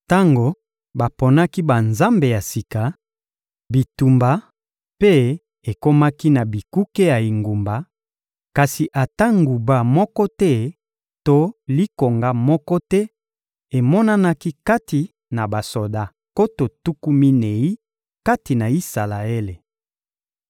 Tango baponaki banzambe ya sika, bitumba mpe ekomaki na bikuke ya engumba, kasi ata nguba moko te to likonga moko te emonanaki kati na basoda nkoto tuku minei kati na Isalaele.